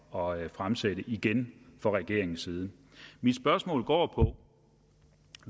og fremsætte igen fra regeringens side mit spørgsmål går på